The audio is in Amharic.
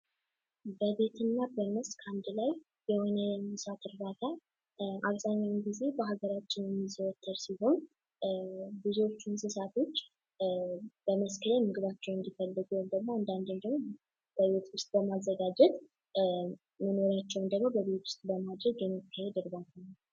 በቤትና በመስክ አንድ ላይ የሚሆን የእንስሳት እርባታ አብዛኛውን ጊዜ ብዙዎቹ እንስሳቶች አብዛኛውን ጊዜ በመስቀል ላይ ምግባቸውን እንዲመገቡ ያደርጋል ወይም ደግሞ በቤት ውስጥ ማዘጋጀት ለእንስሳቶቹ በጣም ጥሩ ይሆናል።